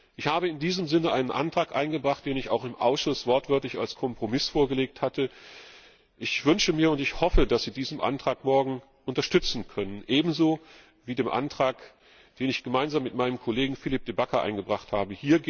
Ich habe in diesem Sinne einen Antrag eingebracht, den ich auch im Ausschuss wortwörtlich als Kompromiss vorgelegt hatte. Ich wünsche mir und ich hoffe, dass Sie diesen Antrag morgen unterstützen können, ebenso wie den Antrag, den ich gemeinsam mit meinem Kollegen Philippe De Backer eingebracht habe.